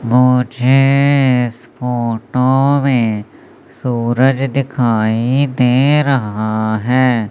मुझे इस फोटो में सूरज दिखाई दे रहा है।